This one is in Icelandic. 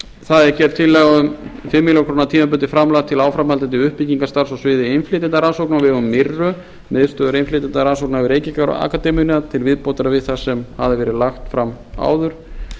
það er gerð tillaga um fimm milljónir króna tímabundið framlag til áframhaldandi uppbyggingarstarfs á sviði innflytjendarannsókna á vegum fyrr miðstöðvar innflytjendarannsókna við reykjavíkurakademíuna til viðbótar við það sem hafði verið lagt fram áður